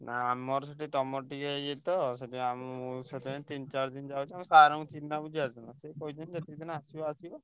ଆମ ଠୁ ତମର ଟିକେ ଇଏତ ସେଥି ପାଇଁ ତିନି ଚାରି ଦିନ ଯାଉଛି ସାର କ ଚିହ୍ନା ପରିଚିତ ଅଛି ତ ।